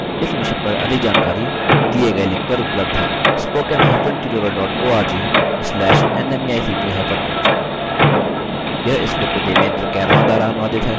इस mission पर अधिक जानकारी दिए गए लिंक पर उपलब्ध है